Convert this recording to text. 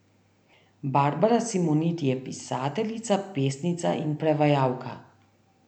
Barbara Simoniti je pisateljica, pesnica in prevajalka.